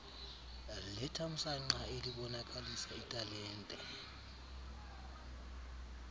lethamsanqa elibonakalisa italente